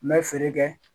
N bɛ feere kɛ